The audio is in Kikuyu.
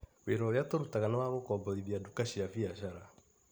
Wĩra ũrĩa tũrutaga nĩ wa gũkomborithia duka cia biacara.